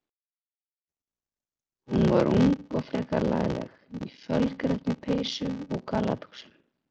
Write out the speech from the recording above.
Hún var ung og frekar lagleg, í fölgrænni peysu og gallabuxum.